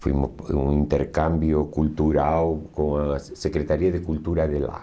Fomos para um intercâmbio cultural com a Secretaria de Cultura de lá.